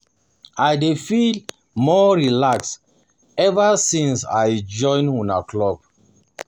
I dey um feel more relaxed ever since I ever since I join una club